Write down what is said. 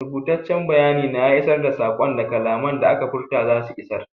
Rubutaccen bayani na iya isar da saƙon da kalaman da aka furta zasu isar.